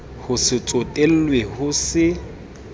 ho se tsotellwe ho se